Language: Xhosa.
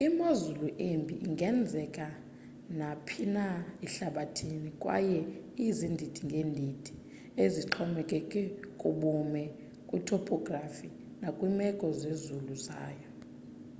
imozulu embi ingenzeka naphina ehlabathini kwaye izindidi ngedindi ezixhomekeke kubume kwi-topography nakwimeko zezulu zayo